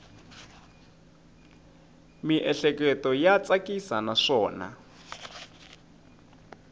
miehleketo ya tsakisa naswona